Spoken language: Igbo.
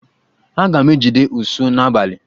Aga m ejide ụsụ n'abalị.